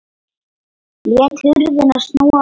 Lét hurðina snúa upp.